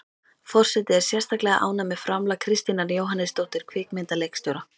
Forseti er sérstaklega ánægð með framlag Kristínar Jóhannesdóttur kvikmyndaleikstjóra.